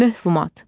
Mövhumat.